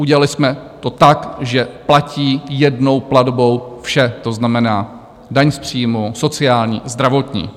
Udělali jsme to tak, že platí jednou platbou vše, to znamená daň z příjmu, sociální, zdravotní.